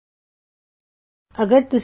ਇਸ ਵਿੱਚ ਅਸੀਂ ਆਈਐਫ ਸਟੇਟਮੈਂਟ ਦੇ ਬਾਰੇ ਜਾਨਾਂਗੇ